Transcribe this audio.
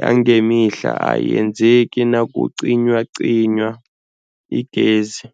yangemihla ayenzeki nakucinywacinywa igezi.